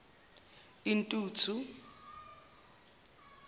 intuthu